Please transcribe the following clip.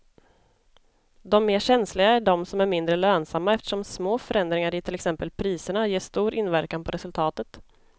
De mer känsliga är de som är mindre lönsamma eftersom små förändringar i till exempel priserna ger stor inverkan på resultatet.